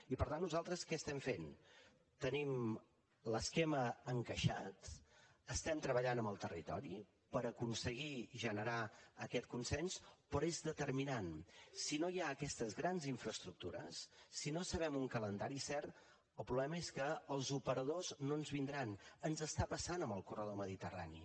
i per tant nosaltres què estem fent tenim l’esquema encaixat estem treballant amb el territori per aconseguir generar aquest consens però és determinant si no hi ha aquestes grans infraestructures si no sabem un calendari cert el problema és que els operadors no ens vindran ens està passant amb el corredor mediterrani